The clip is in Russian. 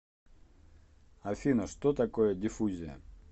афина что такое диффузия